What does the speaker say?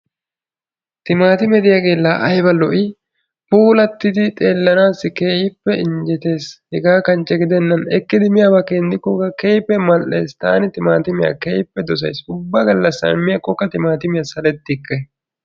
timaatimee ditaagee laa aybba lo'i? ekkanaassikka keehippe lo'ees. taani timaatimmiya keehippe dosayss. ubba gala miyaakokka saletikke.